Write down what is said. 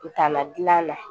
U tana dilan na